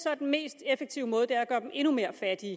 er den mest effektive måde at gøre dem endnu mere fattige